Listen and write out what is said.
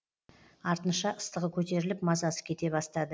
артынша ыстығы көтеріліп мазасы кете бастады